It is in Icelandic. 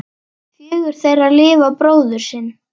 Fjögur þeirra lifa bróður sinn.